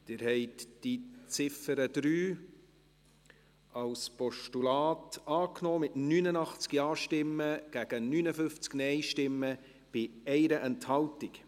Sie haben die Ziffer 3 als Postulat angenommen, mit 89 Ja-Stimmen gegen 59 NeinStimmen bei 1 Enthaltung.